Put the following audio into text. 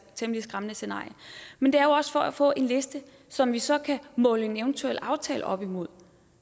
temmelig skræmmende scenarie men det er jo for at få en liste som vi så kan måle en eventuel aftale op imod